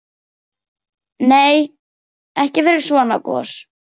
Nei, ekki fyrir svona gos.